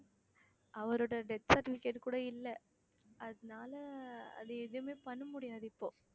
அவரோட death certificate கூட இல்ல அதனால அது எதுவுமே பண்ண முடியாது இப்போ